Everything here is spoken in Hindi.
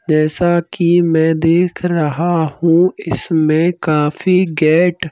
जैसा कि मैं देख रहा हूं इसमें काफी गेट --